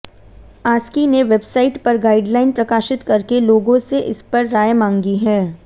ASCII ने website पर guideline प्रकाशित करके लोगों से इस पर राय मांगी है